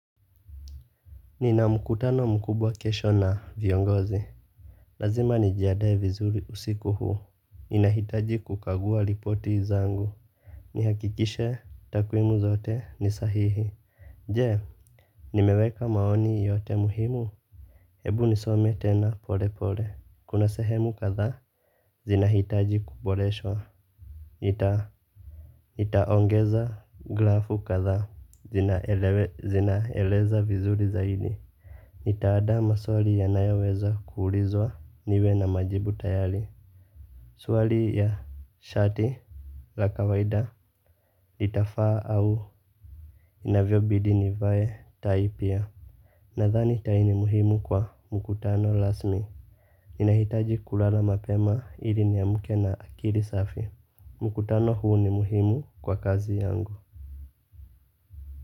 Nina mkutano mkubwa kesho na viongozi. Lazima nijiadae vizuri usiku huu. Ninahitaji kukagua lipoti zangu. Nihakikishe takwimu zote ni sahihi. Je nimeweka maoni yote muhimu. Hebu nisome tena pole pole kuna sehemu kadhaa zinahitaji kuboreshwa nitaongeza grafu kadhaa zinaeleza vizuri zaidi. Nitaada maswali yanayoweza kuulizwa niwe na majibu tayali. Swali ya shati la kawaida itafaa au inavyobidi nivae tai pia. Nadhani tai ni muhimu kwa mkutano lasmi nahitaji kulala mapema ili niamuke na akiri safi. Mkutano huu ni muhimu kwa kazi yangu.